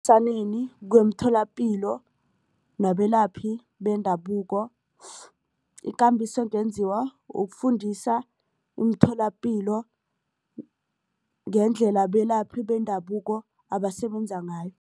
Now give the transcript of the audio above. kweemtholapilo nabelaphi bendabuko ikambiso engenziwa ukufundisa umtholapilo ngendlela abelaphi bendabuko abasebenza ngayo.